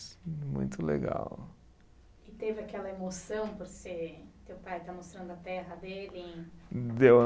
Muito legal. E teve aquela emoção por ser, teu pai estar mostrando a terra dele. Deu